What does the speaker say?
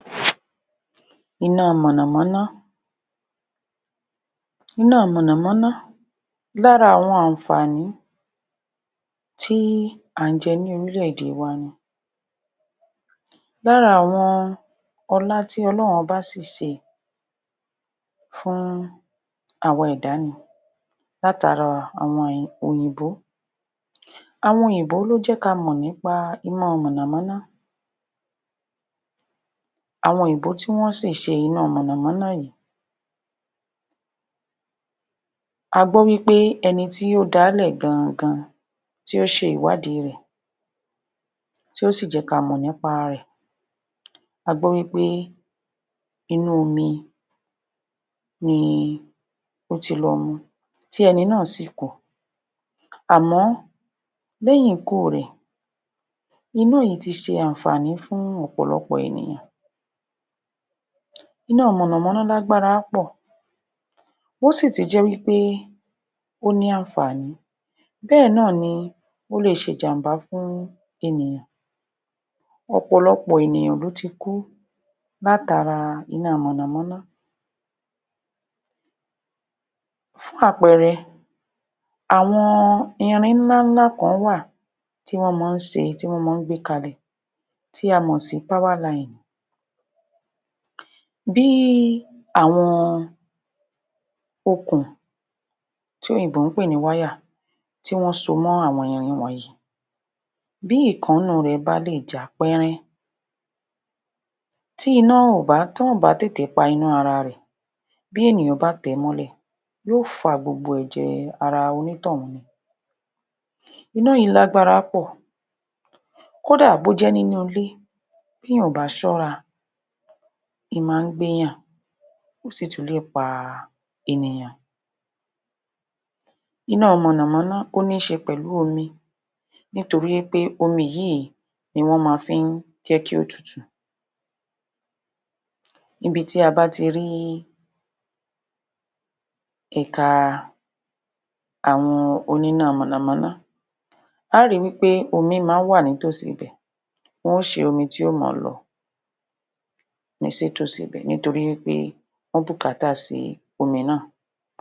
? Iná mọ̀nà-mọ́ná Iná mọ̀nà-mọ́ná, lára àwọn àǹfààní tí à ń jẹ́ ní orílẹ̀-èdè wa ni. lára àwọn ọlá tí ọlọ́run ọba si ṣe fún àwa ẹ̀da ni látara àwọn òyìnbó àwọn òyìnbó ló jẹ́ ka mọ̀ ní pa iná mọ̀nà-mọ̀nà àwọn òyìnbó tí wọ́n si ṣe iná mọ̀nà-mọ́ná yìí, a gbọ́ wí pé ẹni tí ó dáà lẹ̀ gan-an-gan, tí ó ṣe ìwádìí rẹ̀, tí ó si jẹ ka mọ̀ nípa rẹ̀ a gbọ́ wí pé inú omi ni ó ti lọ mu tí ẹni náà sì kú àmọ́, lẹ́yìn ikú rẹ̀, iná yìí ti ṣe àǹfààní fún ọ̀pọ̀lọpọ̀ ènìyàn iná mọ̀nà-mọ́ná lágbára pọ̀, ó si tún jẹ́ wí pé ó ní àǹfààní, bẹ́ẹ̀ náà ni ó le ṣe ìjàmbá fún ènìyàn. ọ̀pọ̀lọpọ̀ ènìyàn ló ti kú látara iná mọ̀nà-mọ́ná. fún àpẹẹrẹ, àwọn irin ńlá ńlá kán wà tí wọ́n máa ń ṣe, tí wọ́n máa ń gbé kalẹ̀ tí a mọ̀ sí powerline bí àwọn okùn tí òyìnbó ń pè ní wire tí wọ́n so mọ́ àwọn irin wọ̀nyìí, bí ọ̀kan nínú rẹ̀ bá lè já pẹ́rẹ́, tí wọ́n ò bá tètè pa iná ara rẹ̀, bí ènìyàn bá tẹ̀ ẹ́ mọ́lẹ̀ yó fa gbogbo ẹ̀jè ara onítọ̀hún mu. iná yìí lágbára pọ̀, kódà bó jẹ́ inú ilé, b'èèyàn ò bá ṣọ́ra, ó máa ń gbé yàn, ó sì tún le pa ènìyàn. iná mọ̀nà-mọ́ná, ó ní ṣe pẹ̀lú omi nítorí wí pé omi yìí ní wọ́n máa fi ń jẹ́ kí ó tutù níbi tí a bá ti rí ẹ̀ka àwọn oníná mọ̀nà-mọ́ná, a ó wí pé omi máa ń wà nítòsí ibẹ̀ wọn ó ṣe omi tí yó mọ̀ ọ́ lọ nítòsí ibẹ̀ nítorí wí pé wọ́n bùkátà sí omi náà.